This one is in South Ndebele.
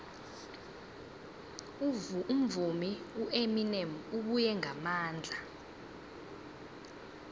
umvumi ueminem ubuye ngamandla